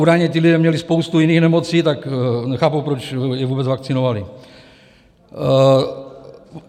Údajně ti lidé měli spoustu jiných nemocí, tak nechápu, proč je vůbec vakcinovali.